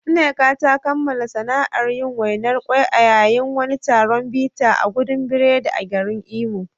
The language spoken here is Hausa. Nneka ta kammala sana’ar yin wainar ƙwai a yayin wani taron bita a gudan biredi a garin Imo.